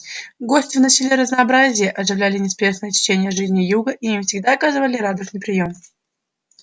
гости вносили разнообразие оживляли неспешное течение жизни юга и им всегда оказывали радушный приём